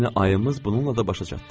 Yəni ayımız bununla da başa çatdı.